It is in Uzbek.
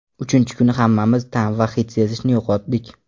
Uchinchi kuni hammamiz ta’m va hid sezishni yo‘qotdik.